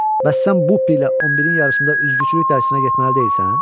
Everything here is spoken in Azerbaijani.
Bəs sən Bupilə 11-in yarısında üzgüçülük dərsinə getməli deyilsən?